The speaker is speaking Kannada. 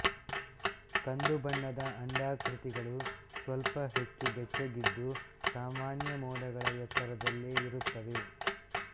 ಕಂದು ಬಣ್ಣದ ಅಂಡಾಕೃತಿಗಳು ಸ್ವಲ್ಪ ಹೆಚ್ಚು ಬೆಚ್ಚಗಿದ್ದು ಸಾಮಾನ್ಯ ಮೋಡಗಳ ಎತ್ತರದಲ್ಲೇ ಇರುತ್ತವೆ